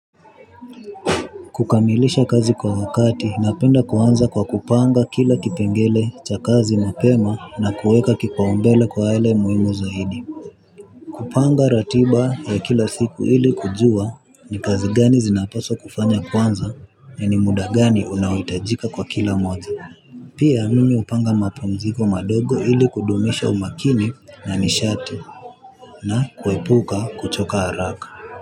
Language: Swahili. Kukamilisha kazi kwa wakati napenda kuanza kwa kupanga kila kipengele cha kazi mapema na kuweka kipaumbele kwa yale muhimu zaidi. Kupanga ratiba ya kila siku ili kujua ni kazi gani zinapaswa kufanya kwanza na ni muda gani unaohitajika kwa kila moja. Pia mimi hupanga mapumziko madogo ili kudumisha umakini na nishati. Na kuepuka kuchoka haraka.